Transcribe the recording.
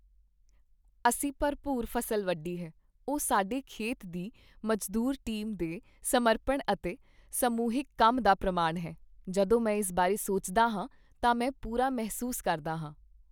ਅਸੀਂ ਭਰਪੂਰ ਫ਼ਸਲ ਵੱਢੀ ਹੈ, ਉਹ ਸਾਡੇ ਖੇਤ ਦੀ ਮਜ਼ਦੂਰ ਟੀਮ ਦੇ ਸਮਰਪਣ ਅਤੇ ਸਮੂਹਿਕ ਕੰਮ ਦਾ ਪ੍ਰਮਾਣ ਹੈ। ਜਦੋਂ ਮੈਂ ਇਸ ਬਾਰੇ ਸੋਚਦਾ ਹਾਂ ਤਾਂ ਮੈਂ ਪੂਰਾ ਮਹਿਸੂਸ ਕਰਦਾ ਹਾਂ।